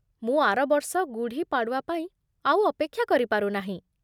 ମୁଁ ଆର ବର୍ଷ ଗୁଢୀ ପାଡ଼ୱା ପାଇଁ ଆଉ ଅପେକ୍ଷା କରିପାରୁ ନାହିଁ ।